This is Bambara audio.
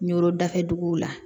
N yɔrɔ dafɛduguw la